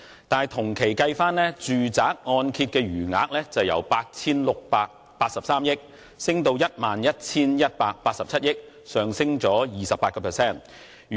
但是，同期的住宅按揭未償還貸款餘額由 8,683 億元，上升至 11,187 億元，升幅為 28%。